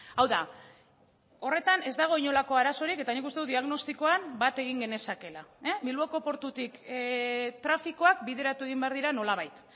hau da horretan ez dago inolako arazorik eta nik uste dut diagnostikoan bat egin genezakeela bilboko portutik trafikoak bideratu egin behar dira nolabait